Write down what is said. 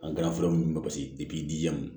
An kɛra fura nunnu ye paseke